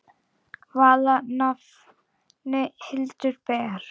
Vala nafnið Hildur ber.